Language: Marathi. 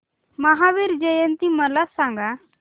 महावीर जयंती मला सांगा